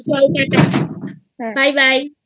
চল TATA bye byeI